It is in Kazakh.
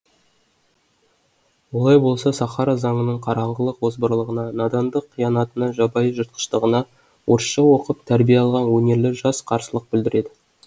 олай болса сахара заңының қараңғылық озбырлығына надандық қиянатына жабайы жыртқыштығына орысша оқып тәрбие алған өнерлі жас қарсылық білдіреді